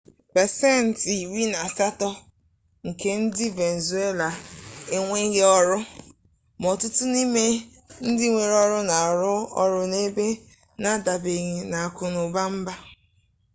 pasentị iri na asatọ nke ndị venezuela enweghị ọrụ ma ọtụtụ n'ime ndị nwere ọrụ na-arụ ọrụ n'ebe ndị n'adabanyeghi n'akụnụba mba